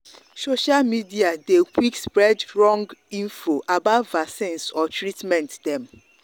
social media dey quick spread wrong wrong info about vaccines or treatment dem.